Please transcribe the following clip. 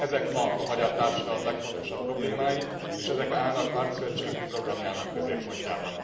Ezek ma a magyar társadalom legfontosabb problémái, és ezek állnak pártszövetségünk programjának középpontjában.